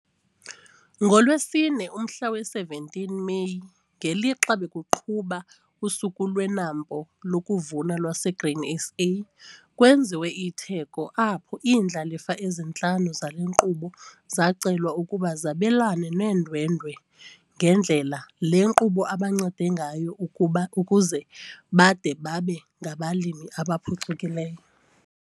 NgoLwesine, umhla we-17 Meyi, ngelixa bekuqhuba uSuku lweNAMPO lokuVuna lwaseGrain SA, kwenziwe itheko apho iindlalifa ezintlanu zale nkqubo zacelwa ukuba zabelane neendwendwe ngendlela le nkqubo ebancede ngayo ukuze bade babe ngabalimi abaphucukileyo.